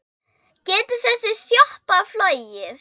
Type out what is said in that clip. Getur þessi sjoppa flogið?